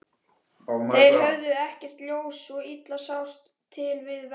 Þeir höfðu ekkert ljós, svo illa sást til við verkið.